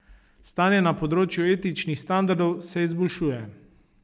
Stanje na področju etičnih standardov se izboljšuje.